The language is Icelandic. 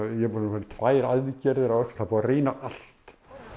ég er búinn að fara í tvær aðgerðir á öxl það er búið að reyna allt